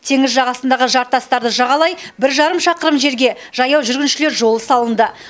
теңіз жағасындағы жартастарды жағалай бір жарым шақырым жерге жаяу жүргіншілер жолы салынды